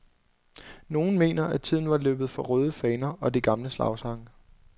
Nogle mener, at tiden var løbet fra røde faner og de gamle slagsange.